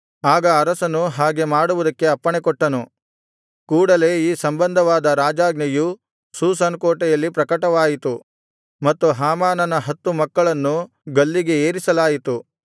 ಆಗ ಅರಸನು ಹಾಗೆ ಮಾಡುವುದಕ್ಕೆ ಅಪ್ಪಣೆಕೊಟ್ಟನು ಕೂಡಲೆ ಈ ಸಂಬಂಧವಾದ ರಾಜಾಜ್ಞೆಯು ಶೂಷನ್ ಕೋಟೆಯಲ್ಲಿ ಪ್ರಕಟವಾಯಿತು ಮತ್ತು ಹಾಮಾನನ ಹತ್ತು ಮಕ್ಕಳನ್ನು ಗಲ್ಲಿಗೆ ಏರಿಸಲಾಯಿತು